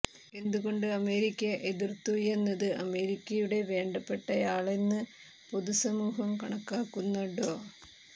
എന്തുകൊണ്ട് അമേരിക്ക എതിര്ത്തൂയെന്നത് അമേരിക്കയുടെ വേണ്ടപ്പെട്ടയാളെന്ന് പൊതു സമൂഹം കണക്കാക്കുന്ന ഡോ